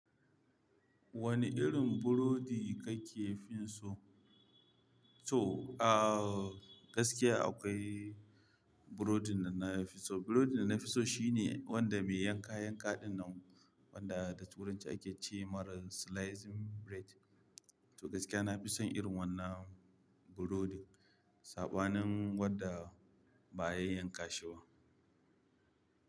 Wane irin burodi kake fin so? To, ah gaskiya akwai burodin da na fi so. Burodin da na fi so shine wanda mai yanka yankaɗin nan wanda da turanci ake ce ma ra slicing bread. To gaskiya na fi son irin wannan burodi, saɓanin wadda ba a yay yanka shi ba.